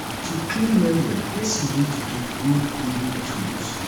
to clean well well person need to get good cleaning tools